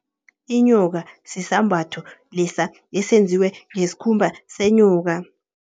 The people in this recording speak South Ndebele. Inyoka, sisambatho lesa esenziwe ngeskhumba senyoka.